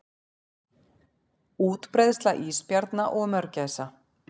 Útbreiðsla ísbjarna og mörgæsa.